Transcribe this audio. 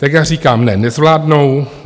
Tak já říkám ne, nezvládnou.